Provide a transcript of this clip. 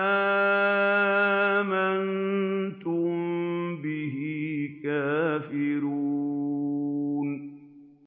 آمَنتُم بِهِ كَافِرُونَ